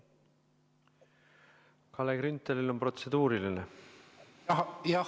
Kalle Günthalil on protseduuriline küsimus.